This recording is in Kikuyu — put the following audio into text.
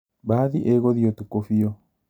Mbathi ĩgũthiĩ ũtukũ biũ